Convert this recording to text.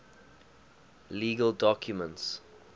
legal documents